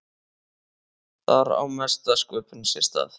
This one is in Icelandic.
Þar á mesta sköpunin sér stað.